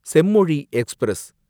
Semmozhi express